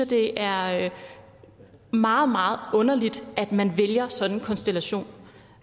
det er meget meget underligt at man vælger sådan en konstellation